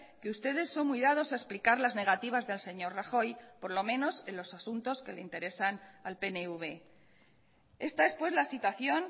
que ustedes son muy dados a explicar las negativas del señor rajoy por lo menos en los asuntos que le interesan al pnv esta es pues la situación